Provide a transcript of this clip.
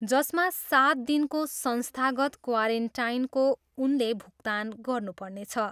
जसमा सात दिनको संस्थागत क्वारेन्टाइनको उनले भुक्तान गर्नु पर्नेछ।